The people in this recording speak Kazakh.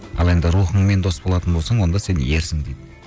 ал енді рухыңмен дос болатын болсаң онда сен ерсің дейді